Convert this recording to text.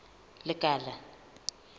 lekala